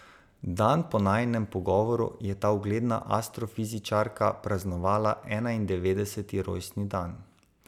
Dan po najinem pogovoru je ta ugledna astrofizičarka praznovala enaindevetdeseti rojstni dan.